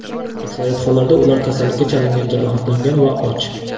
Aksariyat hollarda ular kasallikka chalingan, jarohatlangan va och.